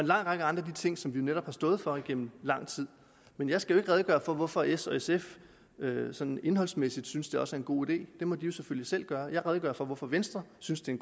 lang række af de ting som vi netop har stået for igennem lang tid men jeg skal redegøre for hvorfor s og sf sådan indholdsmæssigt synes det også er en god idé det må de selvfølgelig selv gøre jeg redegør for hvorfor venstre synes det er